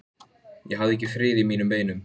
Ég hafði ekki frið í mínum beinum.